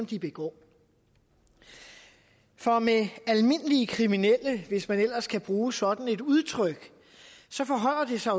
de begår for med almindelige kriminelle hvis man ellers kan bruge sådan et udtryk forholder det sig